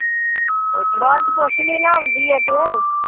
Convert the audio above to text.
ਪੁਛਲੀ ਬਸ ਪੁਸ਼ਲੀ ਨਾ ਆਉਂਦੀ ਏ ਜੇ